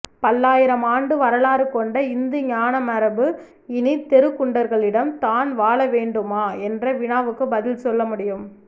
பல்லாயிரம் ஆண்டு வரலாறு கொண்ட இந்துஞானமரபு இனி தெருக்குண்டர்களிடம்தான் வாழவேண்டுமா என்ற வினாவுக்கு பதில் சொல்லமுடியும்